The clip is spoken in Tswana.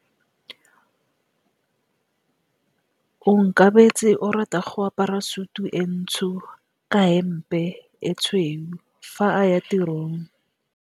Onkabetse o rata go apara sutu e ntsho ka hempe e tshweu fa a ya tirong.